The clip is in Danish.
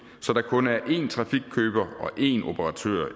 så der kun er en trafikkøber og en operatør